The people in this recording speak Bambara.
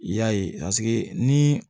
I y'a ye ni